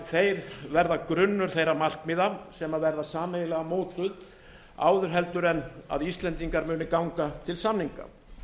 þeir verða grunnur þeirra markmiða sem verða sameiginlega mótuð áður en íslendingar munu ganga til samninga